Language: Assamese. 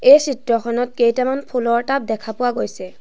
এই চিত্ৰখনত কেইটামান ফুলৰ টাব দেখা পোৱা গৈছে।